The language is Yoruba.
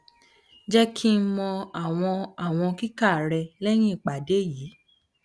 jẹ ki n mọ awọn awọn kika rẹ lẹhin iyipada yii